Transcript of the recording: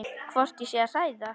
Hvort ég sé að hræða.